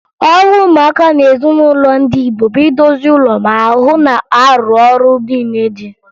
Ọrụ ụmụaka n'ezinụlọ ndị Igbo bụ idozi ụlọ ma hụ na a rụrụ ọrụ niile dị